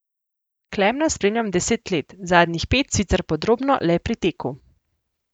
Klemna spremljam deset let, zadnjih pet sicer podrobno le pri teku.